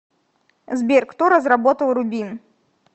сбер кто разработал рубин